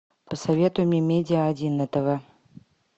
посоветуй мне медиа один на тв